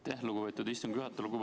Aitäh, lugupeetud istungi juhataja!